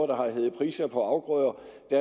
der har været priser på afgrøder